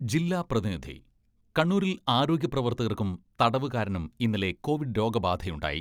ജില്ലാ പ്രതിനിധി കണ്ണൂരിൽ ആരോഗ്യ പ്രവർത്തകർക്കും തടവുകാരനും ഇന്നലെ കോവിഡ് രോഗബാധയുണ്ടായി.